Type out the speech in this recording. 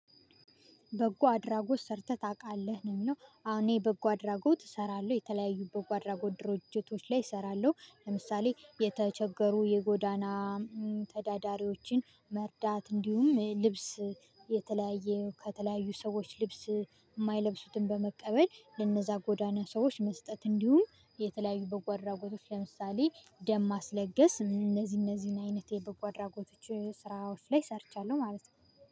በጎ አድራጎት ሰርተህ ታውቃለህ ነው የሚለው አሁን የበጎ አድራጎት እሰራለሁ የተለያዩ በጎ አድራጎት ድርጅቶች ላይ እሰራለሁ። ለምሳሌ የተቸገሩ የጎዳና ተዳዳሪዎችን መርዳት እንዲሁም ልብስ የተለያየ ከተለያዩ ሰዎች ልብስ የማይለብሱትን በመቀበል ለነዛ ጎዳና ሰዎች መስጠት። እንዲሁም የተለያዩ በጎ አድራጎቶች ለምሳሌ ደም ማስለገስ እነዚህ እነዚህን አይነቴ በጎ አድራጎት ስራዎች ላይ ሰርቻለሁ ማለት ነው